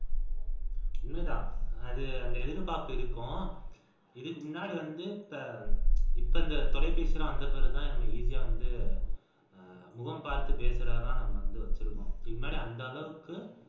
உண்மைதான் அந்த எதிர்பார்ப்பு இருக்கும் இதுக்கு முன்னாடி வந்து இப்ப இந்த தொலைபேசி எல்லாம் வந்த பிறகுதான் easy ஆ வந்து முகம் பார்த்து பேசுறதுதான் வந்து நம்ம வச்சிருக்கோம் இது மாதிரி அந்த அளவுக்கு